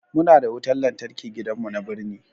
Muna da wutan lantarki gidan mu na birni